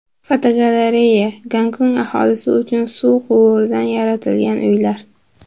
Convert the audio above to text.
Fotogalereya: Gonkong aholisi uchun suv quvuridan yaratilgan uylar.